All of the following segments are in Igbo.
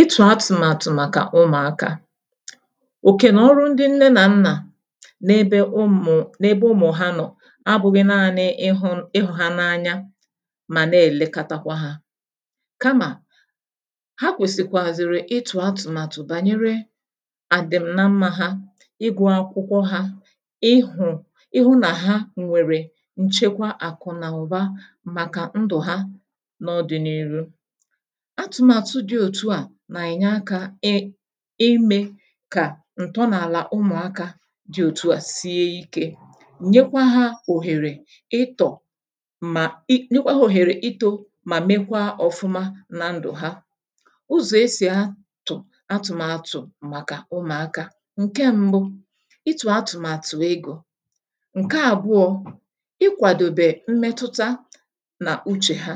itù atụ̀màtụ̀ màkà ụmụ̀akȧ òkè na ọrụ ndị nne na nnà n’ebe ụmụ̀ n’ebe ụmụ̀hà nọ̀ abụ̇ghị̇ naanị̇ ịhụ̇ ịhụ̇ hȧ n’anya mà na-èlekatakwa hȧ kamà ha kwèsìkwàzìrì itù atụ̀màtụ̀ bànyere àdìmna mma ha ịgwụ̇ akwụkwọ ha ịhụ̇ ịhụ̇ nà ha nwèrè nchekwa àkụ̀ nà ụ̀ba màkà ndụ̀ ha nà ọdị̀niru nà-ènye akȧ e imė kà ǹtọ nà-àlà ụmụ̀akȧ dị òtu à sie ikė nyekwa hȧùhèrè ịtọ̀ mà i nyekwa òhèrè itȯ mà mekwaa ọ̀fụma na ndụ̀ ha ụzọ̀ esì atụ̀ atụ̀màtụ̀ màkà ụmụ̀akȧ ǹke mbụ ịtụ̀ atụ̀màtụ̀ egȯ ǹke àbụọ̇ ikwàdòbè mmetuta nà uchè ha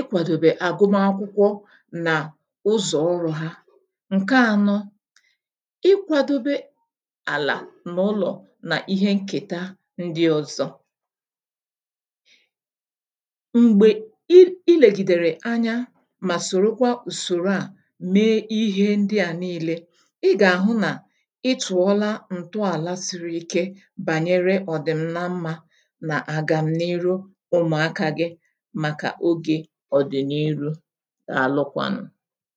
ikwàdòbè àgụmakwụkwọ nà ụzọ̀ ụrụ̇ ha ǹke ànọ ikwȧdobe àlà n’ụlọ̀ nà ihe nkèta ndị ọ̀zọ m̀gbè i i lègìdèrè anya mà sòròkwà ùsòrò à mee ihe ndị à nii̇lė ị gà-àhụ nà ịtụ̀ọla ǹtụ àla siri ike bànyere ọ̀dị̀mna mmȧ nà àgàm n’iru ụmụ̀akȧgị̇ a nụkwà nà